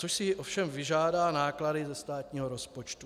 Což si ovšem vyžádá náklady ze státního rozpočtu.